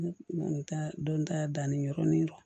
Dɔnta danni yɔrɔnin